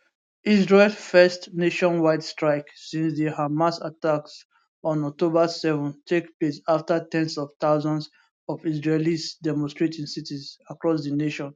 israel first nationwide strike since di hamas attacks on october 7 take place afta ten s of thousands of israelis demonstrate in cities across di nation